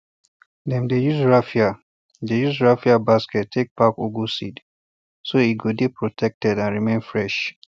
dem dey use raffia dey use raffia basket take pack ugu seeds so e go dey protected and remain fresh